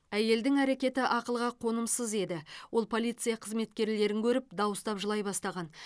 әйелдің әрекеті ақылға қонымсыз еді ол полиция қызметкерлерін көріп дауыстап жылай бастаған